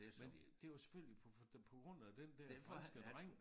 Men det var jo selvfølgelig på på grund af den der franske dreng